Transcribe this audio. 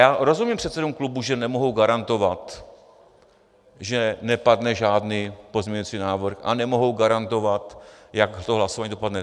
Já rozumím předsedům klubů, že nemohou garantovat, že nepadne žádný pozměňovací návrh, a nemohou garantovat, jak to hlasování dopadne.